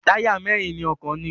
Táyà mẹ́rin ni ọkọ̀ ní.